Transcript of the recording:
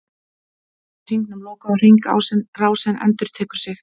Þannig er hringnum lokað og hringrásin endurtekur sig.